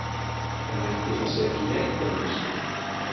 En ætli það sé ekki rétt hjá mér.